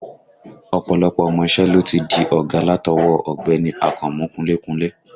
Ọ̀pọ̀lọpọ̀ ọmọ iṣẹ́ ló ti di ọ̀gá látọwọ́ ọ Ọ̀gbẹ́ni Akànmú kunlé kunlé